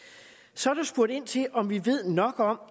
så er der spurgt ind til om vi ved nok om